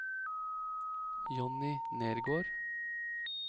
Jonny Nergård